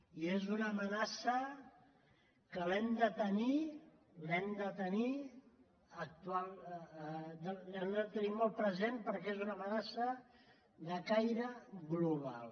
i és una amenaça que l’hem de tenir l’hem de tenir molt present perquè és una amenaça de caire global